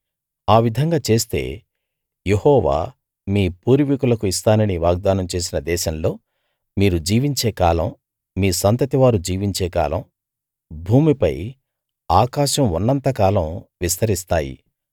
ఆ విధంగా చేస్తే యెహోవా మీ పూర్వీకులకు ఇస్తానని వాగ్దానం చేసిన దేశంలో మీరు జీవించే కాలం మీ సంతతివారు జీవించే కాలం భూమిపై ఆకాశం ఉన్నంత కాలం విస్తరిస్తాయి